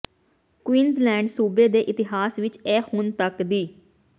Queensland ਸੂਬੇ ਦੇ ਇਤਿਹਾਸ ਵਿਚ ਇਹ ਹੁਣ ਤਕ ਦੀ